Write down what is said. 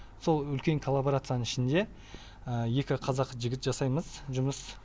сол үлкен коллаборацияның ішінде екі қазақ жігіт жасаймыз жұмыс